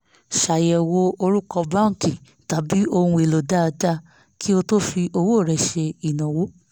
ṣàyẹ̀wò orúkọ báńkì tàbí ohun èlò dáadáa kí o tó fi owó rẹ ṣe ìnáwó